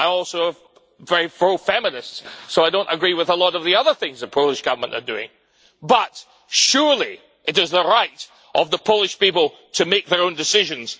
I am also very pro feminist, so I do not agree with a lot of the other things that the Polish Government are doing. But surely it is the right of the Polish people to make their own decisions.